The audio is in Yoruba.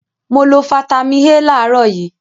Mo lo fataímìn A láàárọ̀ yìí.